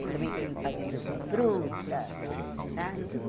Eu também fui em fazenda de fruta, sabe?